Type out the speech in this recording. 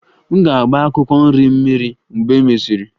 M ga-agba akwụkwọ nri m mmiri mgbe e mesịrị